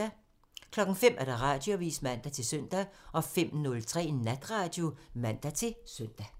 05:00: Radioavisen (man-søn) 05:03: Natradio (man-søn)